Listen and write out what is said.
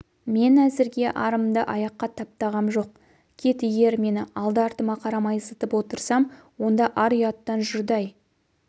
мн әзірге арымды аяққа таптағам жоқ кит егер мен алды-артыма қарамай зытып отырсам онда ар-ұяттан жұрдай